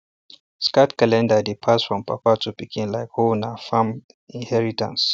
sacred calendar dey pass from papa to pikin like hoena farm inheritance